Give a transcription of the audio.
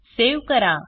save करा